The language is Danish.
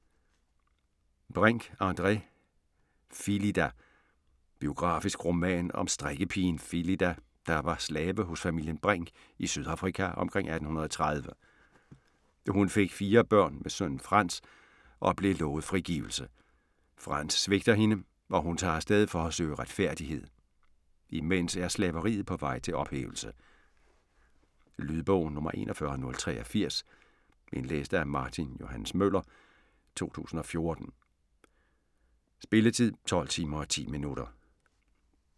Brink, André: Philida Biografisk roman om strikkepigen Philida, der var slave hos familien Brink i Sydafrika omkring 1830. Hun fik 4 børn med sønnen Frans og blev lovet frigivelse. Frans svigter hende og hun tager afsted for at søge retfærdighed. Imens er slaveriet på vej til ophævelse. Lydbog 41083 Indlæst af Martin Johs. Møller, 2014. Spilletid: 12 timer, 10 minutter.